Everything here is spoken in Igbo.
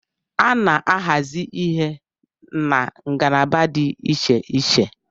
A na-ahazi ihe na ngalaba dị Iche iche